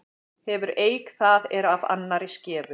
Hefur eik það er af annarri skefur.